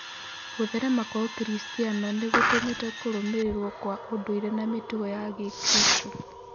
Gũtherema kwa ũkristanoo nĩgũtũmĩte kũrũmĩrĩrwo kwa ũndũire na mĩtugo ya gĩkristo.